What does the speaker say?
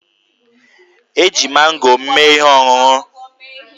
E ji mango m mee ihe ọṅụṅụ.